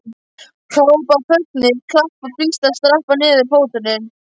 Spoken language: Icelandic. Hrópa af fögnuði, klappa, blístra og stappa niður fótunum!